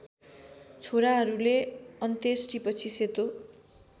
छोराहरूले अन्त्येष्टिपछि सेतो